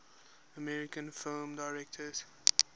american film directors